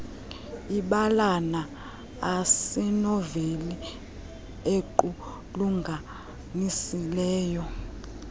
ibalana asinoveli equlunganisiweyo